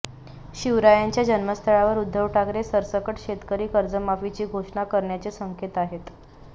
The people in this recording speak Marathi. शिवरायांच्या जन्मस्थळावर उद्धव ठाकरे सरसकट शेतकरी कर्जमाफीची घोषणा करण्याचे संकेत आहेत